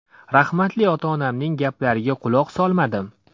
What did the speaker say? Rahmatli ota-onamning gaplariga quloq solmadim.